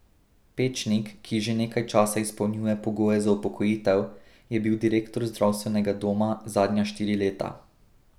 Pečnik, ki že nekaj časa izpolnjuje pogoje za upokojitev, je bil direktor zdravstvenega doma zadnja štiri leta.